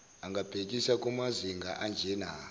angabhekisa kumazinga anjena